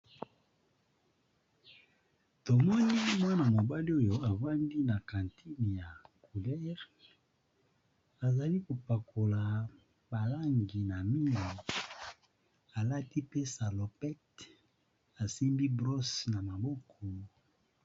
Elenge mobali azali kotiya langi na ndako, asimbi brosse esalaka musala yango. Alati elamba na lopoto ba bengi salopette ya langi ya mbwe.